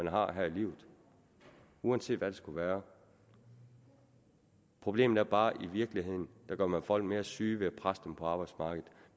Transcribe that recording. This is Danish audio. har her i livet uanset hvad det skulle være problemet er bare at i virkeligheden gør man folk mere syge ved at presse dem ud på arbejdsmarkedet